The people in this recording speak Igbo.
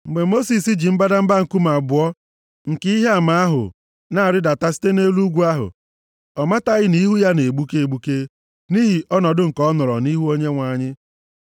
Mgbe Mosis ji mbadamba nkume abụọ nke ihe ama ahụ na-arịdata site nʼelu ugwu ahụ, ọ mataghị na ihu ya na-egbuke egbuke, nʼihi ọnọdụ nke ọ nọrọ nʼihu Onyenwe anyị.